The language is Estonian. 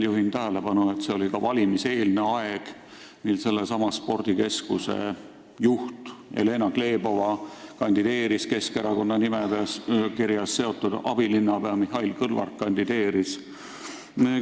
Juhin tähelepanu, et see oli ka valimiseelne aeg ning sellesama spordikeskuse juht Jelena Glebova kandideeris Keskerakonna nimekirjas, ka asjaga seotud abilinnapea Mihhail Kõlvart kandideeris.